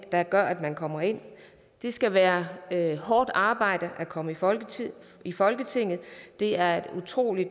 der gør at man kommer ind det skal være hårdt arbejde at komme i folketinget i folketinget det er et utrolig